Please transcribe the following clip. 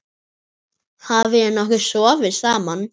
Hafið þið nokkuð sofið saman?